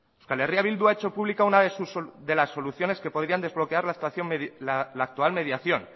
euskal herria bildu ha hecho pública una de las soluciones que podrían desbloquear la actual mediación